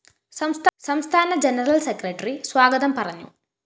സംസ്ഥാന general secretary സ്വാഗതം പറഞ്ഞു